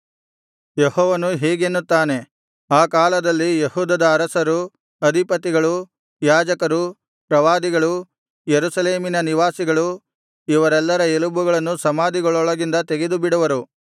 ಯೆಹೋವನು ಹೀಗೆನ್ನುತ್ತಾನೆ ಆ ಕಾಲದಲ್ಲಿ ಯೆಹೂದದ ಅರಸರು ಅಧಿಪತಿಗಳು ಯಾಜಕರು ಪ್ರವಾದಿಗಳು ಯೆರೂಸಲೇಮಿನ ನಿವಾಸಿಗಳು ಇವರೆಲ್ಲರ ಎಲುಬುಗಳನ್ನು ಸಮಾಧಿಗಳೊಳಗಿಂದ ತೆಗೆದುಬಿಡುವರು